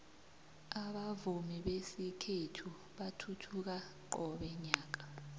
abavumi besikhethu bathuthuka qobe nyaka